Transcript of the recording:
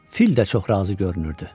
Fil də çox razı görünürdü.